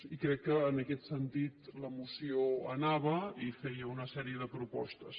i crec que en aquest sentit la moció anava i feia una sèrie de propostes